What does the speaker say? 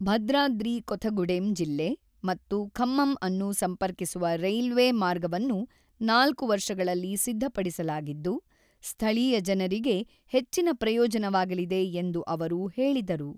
ಭದ್ರಾದ್ರಿ ಕೊಥಗುಡೆಮ್ ಜಿಲ್ಲೆ ಮತ್ತು ಖಮ್ಮಮ್ ಅನ್ನು ಸಂಪರ್ಕಿಸುವ ರೈಲ್ವೆ ಮಾರ್ಗವನ್ನು 4 ವರ್ಷಗಳಲ್ಲಿ ಸಿದ್ಧಪಡಿಸಲಾಗಿದ್ದು, ಸ್ಥಳೀಯ ಜನರಿಗೆ ಹೆಚ್ಚಿನ ಪ್ರಯೋಜನವಾಗಲಿದೆ ಎಂದು ಅವರು ಹೇಳಿದರು.